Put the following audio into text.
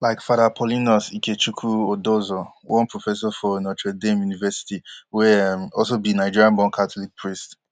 like father paulinus ikechukwu odozor one professor for notre dame university wey um also be nigerian born catholic priest